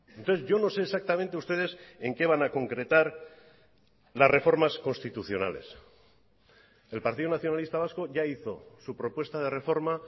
entonces yo no sé exactamente ustedes en qué van a concretar las reformas constitucionales el partido nacionalista vasco ya hizo su propuesta de reforma